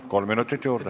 Kolm minutit juurde.